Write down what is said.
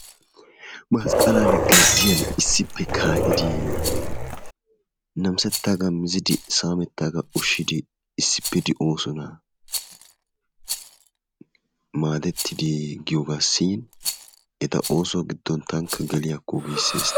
Masqqalan gazziyan issippe kaa'idi namisettaagaa mizidi saamettaagaa ushshidi issippe de'osona. Maadettidi giyogaassi eta ooso giddon tankka geliyakko giisses.